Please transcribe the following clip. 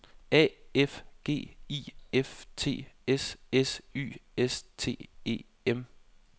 A F G I F T S S Y S T E M